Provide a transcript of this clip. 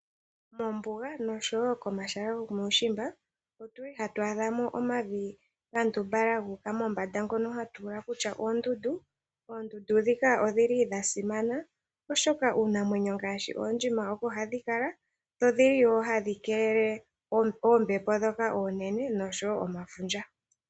Moombuga nosho wo komahala gomuushimba otu li hatu adha mo omavi ga ndumbalala ngoka gu uka mombanda, ngono hatu ula kutya ogo oondundu. Oondundu ndhika odhi li dha simana, oshoka uunamwenyo ngaashi oondjima oko hadhi kala, dho odhi li wo hadhi keelele oombepo ndhoka oonene, nosho wo omafundja.